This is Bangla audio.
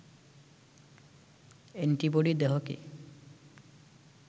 অ্যান্টিবডি দেহকে